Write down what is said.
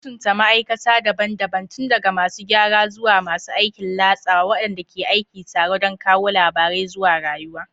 Mutunta ma'aikata daban-daban, tun daga masu gyara zuwa masu aikin latsawa, waɗanda ke aiki tare don kawo labarai zuwa rayuwa.